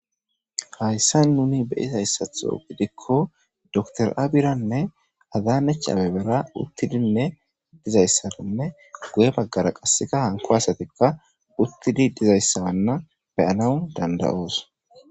Hayssan nuni be'izayssaththo gidikko dokotere Abira nne Adanech Abebera uttidinne dizayssaninne guye baggara qassikka hanko asati uttidi dizayssa be'anaw danda'os.